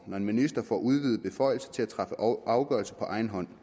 når en minister får udvidede beføjelser til at træffe afgørelser på egen hånd